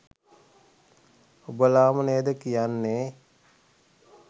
ඔබලාම නේද කියන්නෙ